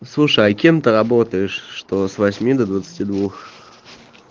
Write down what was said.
слушай а кем ты работаешь что с восьми до двадцати двух